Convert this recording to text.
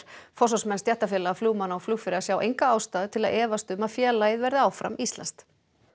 forsvarsmenn stéttarfélaga flugmanna og flugfreyja sjá enga ástæðu til að efast um að félagið verði áfram íslenskt